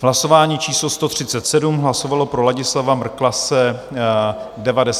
V hlasování číslo 137 hlasovalo pro Ladislava Mrklase 99 poslanců.